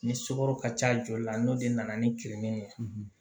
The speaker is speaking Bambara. Ni sukaro ka ca joli la n'o de nana ni kirin ye